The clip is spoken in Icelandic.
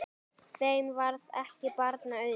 Þeim varð ekki barna auðið.